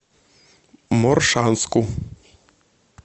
моршанску